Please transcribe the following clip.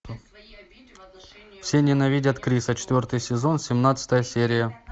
все ненавидят криса четвертый сезон семнадцатая серия